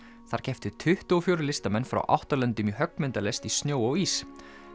þar kepptu tuttugu og fjögur frá átta löndum í höggmyndalist í snjó og ís